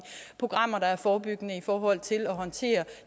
programmer der er forebyggende i forhold til at håndtere